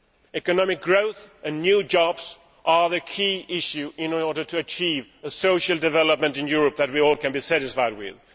Economic growth and new jobs are the key issue in order to achieve social development in Europe that we can all be satisfied with.